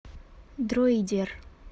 дроидер